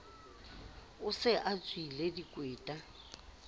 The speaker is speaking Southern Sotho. o se a shwele dikweta